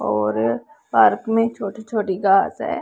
और पार्क में छोटी छोटी घास है।